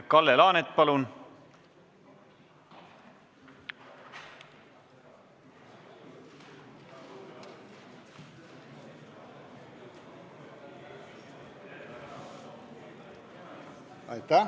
Kalle Laanet, palun!